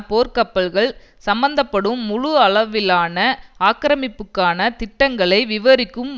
போர்க்கப்பல்கள் சம்பந்தப்படும் முழு அளவிலான ஆக்கிரமிப்புக்கான திட்டங்களை விவரிக்கும்